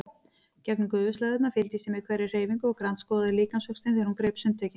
Gegnum gufuslæðurnar fylgdist ég með hverri hreyfingu og grandskoðaði líkamsvöxtinn þegar hún greip sundtökin.